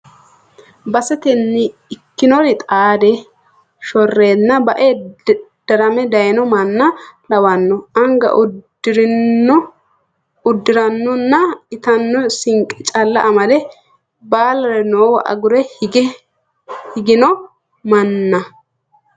Basetenni ikkinori xaade shorenna bae darame dayino manna lawano anga uddiranonna ittano sinqe calla amade baallare noowa agure higgino manna.